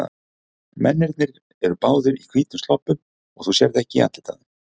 Mennirnir eru báðir í hvítum sloppum og þú sérð ekki andlitið á þeim.